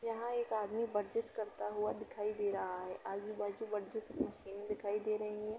यहाँ एक आदमी बर्जिश करता हुआ दिखायी दे रहा है आगे बाज़ू बर्जिश मशीन दिखायी दे रही।